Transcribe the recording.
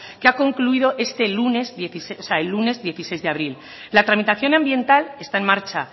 que ha concluido este lunes o sea el lunes dieciséis de abril la tramitación ambiental está en marcha